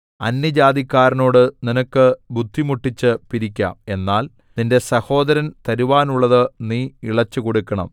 അന്യജാതിക്കാരനോട് നിനക്ക് ബുദ്ധിമുട്ടിച്ച് പിരിക്കാം എന്നാൽ നിന്റെ സഹോദരൻ തരുവാനുള്ളത് നീ ഇളച്ചുകൊടുക്കണം